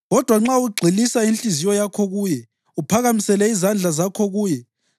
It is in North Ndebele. Kodwa nxa ugxilisa inhliziyo yakho kuye uphakamisele izandla zakho kuye,